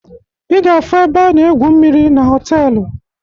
Ị ga-afu ebe a na-egwu mmiri na họtelu